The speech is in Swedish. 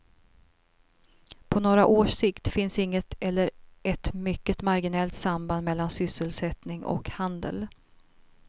På några års sikt finns inget eller ett mycket marginellt samband mellan sysselsättning och handel.